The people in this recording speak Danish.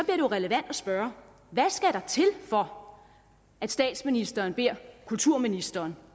jo relevant at spørge hvad skal der til for at statsministeren beder kulturministeren